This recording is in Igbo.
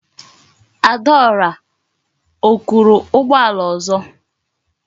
Adaora o kuru ugboala ozo?